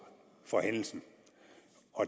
for hændelsen